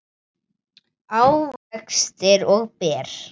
ávextir og ber